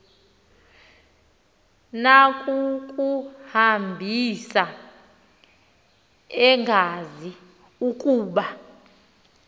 nakukuhambisa engazi ukuba